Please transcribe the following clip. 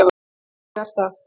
Ég er það.